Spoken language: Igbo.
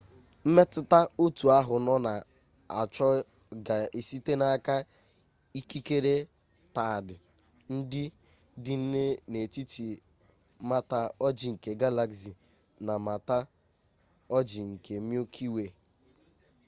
mmetụta otu ahụ nọ na-achọ ga-esite n'aka ikikere taịdị ndị dị n'etiti mata ojii nke galaxy na mata ojii nke milky way